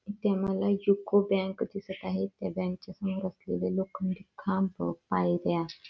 येथे आम्हाला UCO bank दिसत आहेत लोखंडी खांब व पायऱ्या--